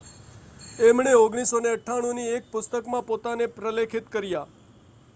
એમણે 1998 ની એક પુસ્તકમાં પોતાને પ્રલેખિત કર્યા